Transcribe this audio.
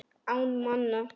Án manna.